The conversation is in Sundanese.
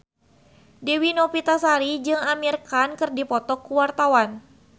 Dewi Novitasari jeung Amir Khan keur dipoto ku wartawan